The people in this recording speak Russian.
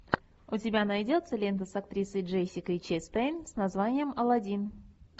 у тебя найдется лента с актрисой джессикой честейн с названием алладин